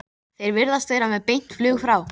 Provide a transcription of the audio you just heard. Þeir virðast vera með beint flug frá